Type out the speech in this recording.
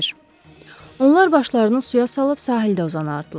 Onlar başlarını suya salıb sahildə uzanardılar.